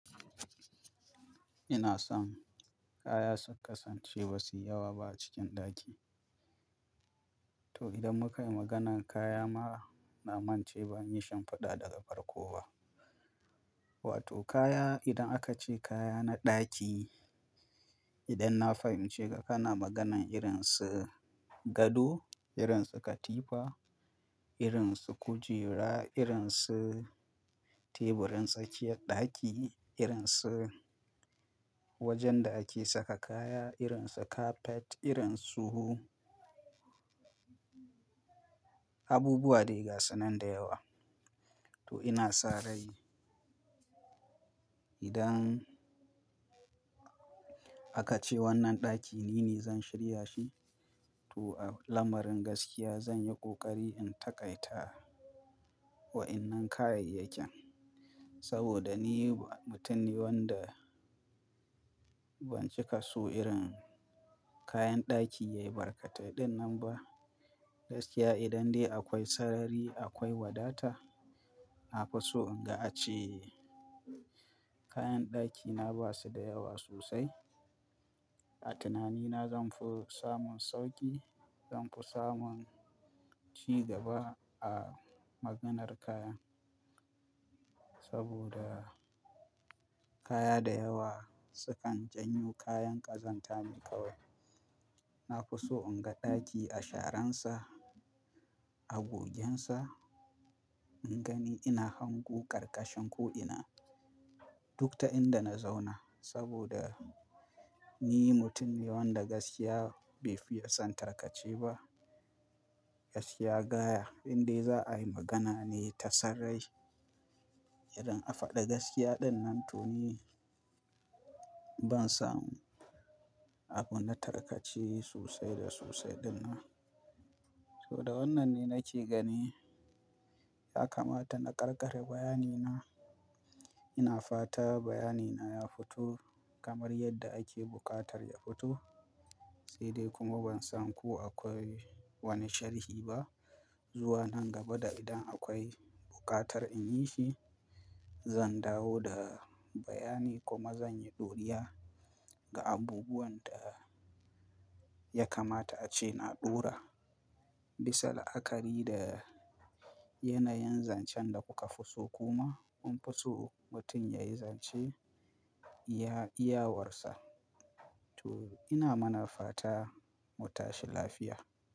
Ina son kaya su kasance ba su yi yawa ba a cikin ɗaki. To idan mukai maganan kaya ma, na mance ban yi shinfiɗa daga farko ba. Wato kaya, idan aka ce kaya na ɗaki, idan na fahimce ka, kana maganan irin su gado, irin su katifa, irin su kujera, irin su teburin tsakiyar ɗaki, irin su wajen da ake saka kaya, irin su carpet, irin su abubuwa dai gasu nan da yawa. To ina sa rai idan aka ce wannan ɗaki nine zan shirya shi, to a lamarin gaskiya zan yi ƙoƙari in taƙaita wa'innan kayayyakin. Saboda ni mutum ne wanda ban cika so irin kayan ɗaki yayi barkatai ɗinnan ba. Gaskiya idan dai akwai sarari, akwai wadata, na fi so in ga a ce kayan ɗakina basu da yawa sosai. A tunanina zanfi samun sauƙi, zanfi samun cigaba a maganar kaya. Saboda kaya da yawa sukan janyo kayan ƙazanta ne kawai. Na fi so in ga ɗaki a sharan sa. A gogensa, in gani ina hango ƙarƙashin ko'ina duk ta inda na zauna. Saboda ni mutum ne wanda gaskiya bai fiye son tarkace ba. Gaskiya gaya, idan dai za'ai magana ne ta san rai, irin a faɗi gaskiya ɗinnan to ni ban samu abu na tarkace sosai da sosai ɗinnan. To da wannan ne nake gani, ya kamata na ƙarƙare bayani na. Ina fata bayanina ya fito kamar yadda ake buƙatar ya fito. Sai dai kuma ban san ko akwai wani sharhi ba. Zuwa nan gaba da idan akwai buƙatar in yi shi, zan dawo da bayani kuma zan yi ɗoriya ga abubuwan da ya kamata a ce na ɗora. Bisa la'akari da yanayin zancen da kuka fi so kuma kun fi so mutum ya yi zance iya, iyawarsa. To ina mana fata mu tashi lafiya.